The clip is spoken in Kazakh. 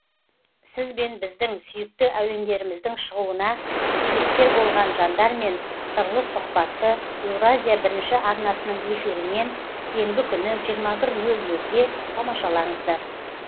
сіз бен біздің сүйікті әуендеріміздің шығуына себепкер болған жандармен сырлы сұхбатты еуразия бірінші арнасының эфирінен сенбі күні жиырма бір нөл нөлде тамашалаңыздар